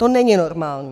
To není normální.